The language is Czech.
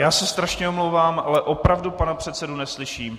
Já se strašně omlouvám, ale opravdu pana předsedu neslyším.